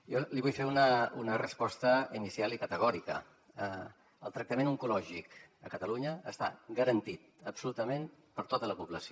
jo li vull fer una resposta inicial i categòrica el tractament oncològic a catalunya està garantit absolutament per a tota la població